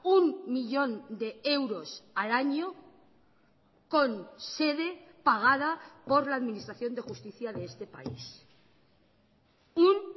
un millón de euros al año con sede pagada por la administración de justicia de este país un